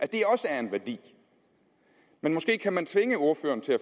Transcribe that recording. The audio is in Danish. det også er en værdi måske kan man tvinge ordføreren til at